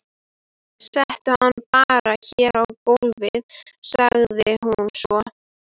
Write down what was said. Settu hann bara hérna á gólfið, sagði hún svo.